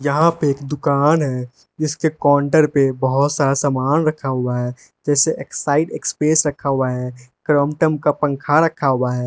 यहां पे एक दुकान है इसके काउंटर पे बहुत सारा सामान रखा हुआ है जैसे एक्साइड एक्सप्रेस रखा हुआ है क्रम्पटन का पंखा रखा हुआ है।